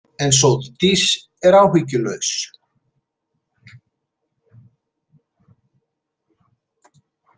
En Sóldís er áhyggjulaus.